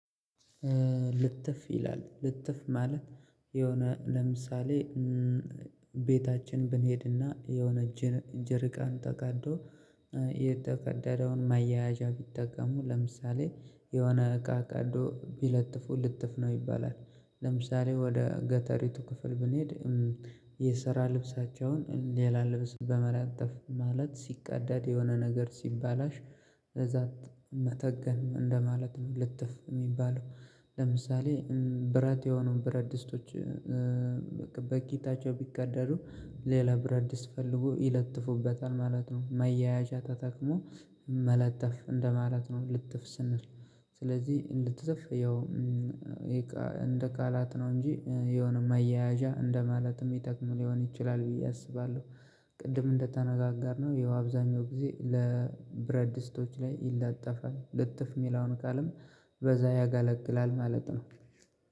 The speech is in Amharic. ልትፍ ይላል ልትፍ ማለት የሆነ ለምሳሌ ቤታችን ብንሄድና የሆነ እጅን እጅር ቀን ተቃዶ የተገደደውን ማያያዣ ቢጠቀሙ ለምሳሌ የሆነ እቃ ቀዶ ቢለጥፉ ልጥፍ ነው ይባላል። ለምሳሌ ወደ ገተሪቱ ክፍል ብንሄድ የሰራ ልብሳቸውን ሌላ ልብስ በመላጠፍ ማለት ሲቀዳድ የሆነ ነገር ሲባላሽ እዛ መተገን እንደማለት ነው ልትፍ የሚባለው ለምሳሌ ብረት የሆኑ ብረድስቶች በቂታች ቢቀደዱ ሌላ ብረድስት ፈልጎ ይለጥፉበታል ማለት ነው። ማያያዣ ተተቅሞ መለጠፍ እንደማለት ነው። ልትፍ ስንል ስለዚህ እንድትስፍ ያው እንደ ቃላት ነው እንጂ የሆነ መያያዣ እንደማለትም ይጠቅሙ ሊሆን ይችላል ብዬ አስባለሁ። ቅድም እንደተነጋጋርነው ይኸው አብዛኛው ጊዜ ለብረድስቶች ላይ ይለጠፋል ልጥፍ የሚለውን ቃልም በዛ ያጋለግላል ማለት ነው።